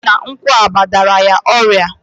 Osi na nkwuaba dara ya oria